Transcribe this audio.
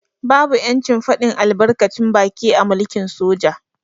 Babu yancin fadin albarkacin baki a mulkin soja.